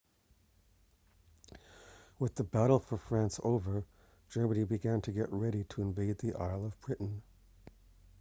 with the battle for france over germany began to get ready to invade the island of britain